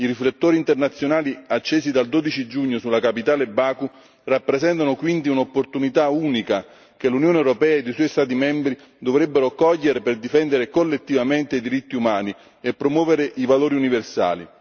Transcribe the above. I riflettori internazionali, accesi dal 12 giugno sulla capitale Baku, rappresentano quindi un'opportunità unica che l'Unione europea e i suoi Stati membri dovrebbero cogliere per difendere collettivamente i diritti umani e promuovere i valori universali.